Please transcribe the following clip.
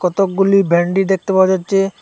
কতকগুলি ভেন্ডি দেখতে পাওয়া যাচ্ছে।